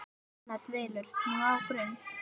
Anna dvelur nú á Grund.